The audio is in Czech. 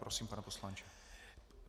Prosím, pane poslanče.